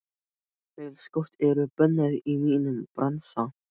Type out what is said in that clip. Feilskot eru bönnuð í mínum bransa.